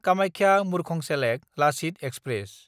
कामाख्या–मुरखंसेलेक Lachit express